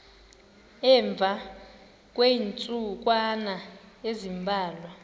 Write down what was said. emva kweentsukwana ezimbalwa